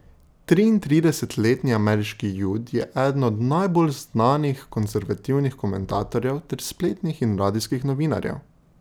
Triintridesetletni ameriški Jud je eden od najbolj znanih konservativnih komentatorjev ter spletnih in radijskih novinarjev.